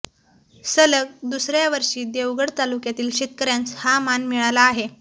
सलग दुसऱ्या वर्षी देवगड तालुक्यातील शेतकऱ्यांस हा मान मिळाला आहे